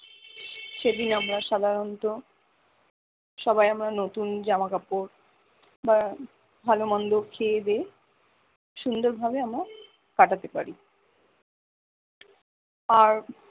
সেদিন আমরা সাধারণত সবাই আমরা নতুন জামাকাপড় বা ভালো মন্দ খেয়ে দেয়ে সুন্দর ভাবে আমরা কাটাতে পারি আর